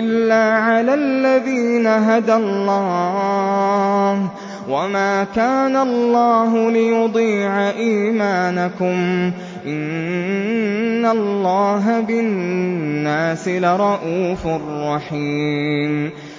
إِلَّا عَلَى الَّذِينَ هَدَى اللَّهُ ۗ وَمَا كَانَ اللَّهُ لِيُضِيعَ إِيمَانَكُمْ ۚ إِنَّ اللَّهَ بِالنَّاسِ لَرَءُوفٌ رَّحِيمٌ